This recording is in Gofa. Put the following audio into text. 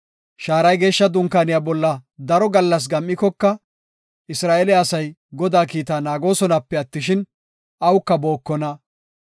Shaaray Geeshsha Dunkaaniya bolla daro gallas gam7ikoka, Isra7eele asay Godaa kiita naagosonape attishin, awuka bookona.